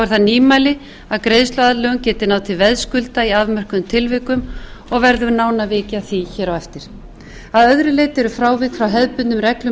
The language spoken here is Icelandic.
nýmæli að greiðsluaðlögun geti náð til veðskulda í afmörkuðum tilvikum og verður nánar vikið að því á eftir að öðru leyti eru frávik frá hefðbundnum reglum um nauðasamningsumleitan